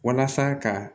Walasa ka